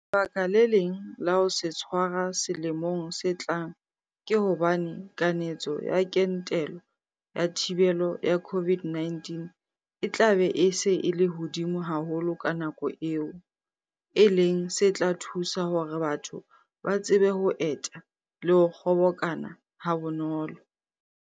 Lebaka le leng la ho se tshwara selemong se tlang ke hobane kanetso ya kentelo ya thibelo ya COVID-19 e tlabe e se e le hodimo haholo ka nako eo, e leng se tla thusa hore batho ba tsebe ho eta le ho kgobokana habonolo.